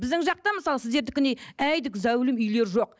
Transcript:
біздің жақта мысалы сіздердікіндей әйдік зәулім үйлер жоқ